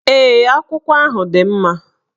Ee, akwụkwọ ahụ dị mma